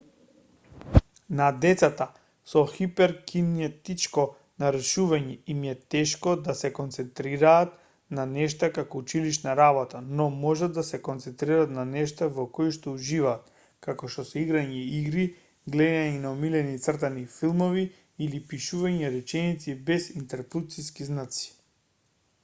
на децата со хиперкинетичко нарушување им е тешко да се концентрираат на нешта како училишна работа но можат да се концентрираат на нештата во коишто уживаат како што се играње игри гледање на омилените цртани филмови или пишување реченици без интерпункциски знаци